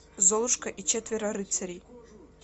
золушка и четверо рыцарей